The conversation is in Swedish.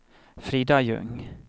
Frida Ljung